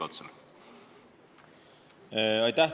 Aitäh!